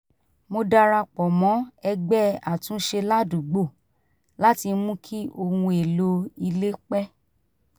mo darapọ̀ mọ́ ẹgbẹ́ àtúnṣe ládùúgbò láti mú kí ohun èlò ilé pẹ́